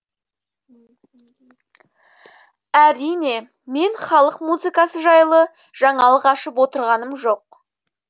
әрине мен халық музыкасы жайлы жаңалық ашып отырғаным жоқ